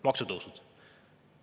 Maksutõusud.